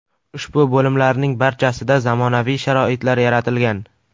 Ushbu bo‘limlarning barchasida zamonaviy sharoitlar yaratilgan.